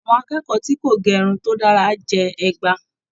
Àwọn akẹ́kọ̀ọ́ tí kò ge irun to dára jẹ ẹgba.